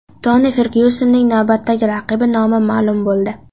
Toni Fergyusonning navbatdagi raqibi nomi ma’lum bo‘ldi.